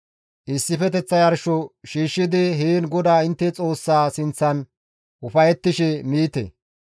Issifeteththa yarsho shiishshidi heen GODAA intte Xoossaa sinththan ufayettishe miite.